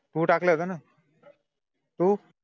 तू टाकलं होतंना, तू